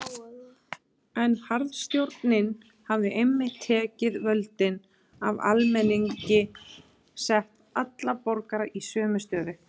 En harðstjórnin hafði einmitt tekið völdin af almenningi og sett alla borgara í sömu stöðu.